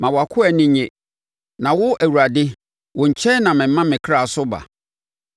Ma wʼakoa ani nnye, na wo Awurade, wo nkyɛn na mema me kra so ba.